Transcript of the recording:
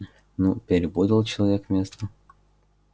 ну перепутал человек место